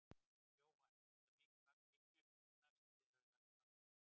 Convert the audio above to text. Jóhann: Er þetta mikið magn fíkniefna sem þið hafið lagt hald á?